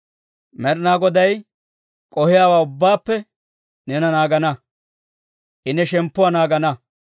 Med'inaa Goday k'ohiyaawaa ubbaappe neena naagana; I ne shemppuwaa naagana.